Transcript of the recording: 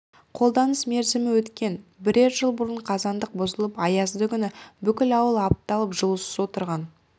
қолданыс мерзімі өткен бірер жыл бұрын қазандық бұзылып аязды күні бүкіл ауыл апталап жылусыз отырған